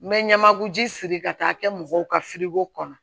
N bɛ ɲamaku ji siri ka taa kɛ mɔgɔw ka kɔnɔ